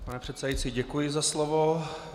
Pane předsedající, děkuji za slovo.